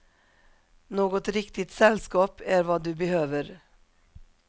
Något riktigt sällskap är vad du behöver.